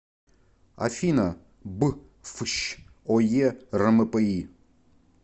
афина б фщ ое рмпи